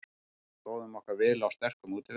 Stóðum okkur vel á sterkum útivelli